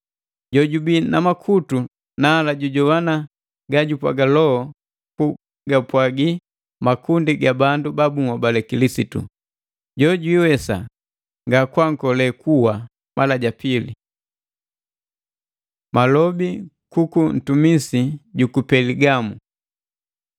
“Jojubi na makutu nala jujogwana ga jupwaga Loho kugapwagi makundi ga bandu ba bunhobale Kilisitu!” “Jo jwiiwesa nga kunkole kuwa mala ja pile”. Malobi kuku ntumisi juku Peligamu